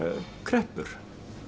kreppur